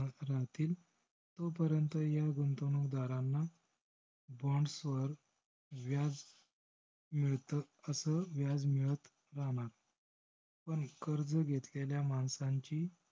राहतील तो पर्यन्त ह्या गुंतवणूकदारांना bonds वर व्याज मिळत अस व्याज मिळत राहणार. पण कर्ज घेतलेल्या माणसांची~